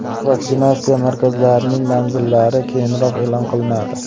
Vaksinatsiya markazlarining manzillari keyinroq e’lon qilinadi.